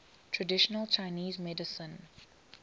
traditional chinese medicine